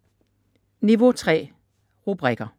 Niveau 3: rubrikker